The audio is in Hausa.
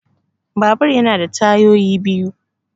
Babur ya na da tayoyi biyu